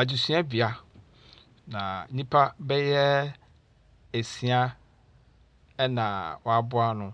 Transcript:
Adesuabea, na nnipa bɛyɛ esia na wɔaboa ano,